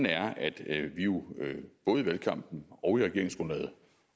er at vi jo både i valgkampen og i regeringsgrundlaget